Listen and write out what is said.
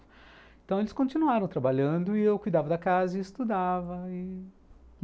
Então eles continuaram trabalhando e eu cuidava da casa e estudava...